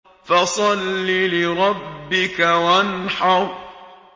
فَصَلِّ لِرَبِّكَ وَانْحَرْ